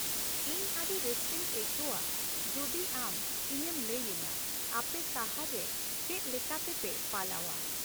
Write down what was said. ᱤᱧ ᱟᱹᱰᱤ ᱨᱟᱹᱥᱠᱟᱹᱧ ᱟᱹᱭᱠᱟᱹᱣᱟ ᱡᱩᱫᱤ ᱟᱢ ᱤᱧᱮᱢ ᱞᱟᱹᱭ ᱟᱹᱧᱟᱹ ᱟᱯᱮ ᱥᱟᱦᱟᱨ ᱨᱮ ᱪᱮᱫᱞᱮᱠᱟᱛᱮᱯᱮ ᱯᱟᱞᱟᱣᱼᱟ ᱾